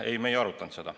Ei, me ei arutanud seda.